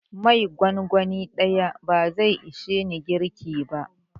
Mai gongoni ɗaya bazai ishe ni girki ba.